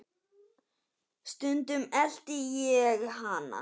Stundum elti ég hana.